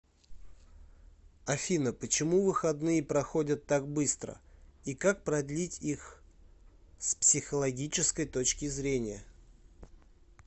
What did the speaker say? афина почему выходные проходят так быстро и как продлить их с психологической точки зрения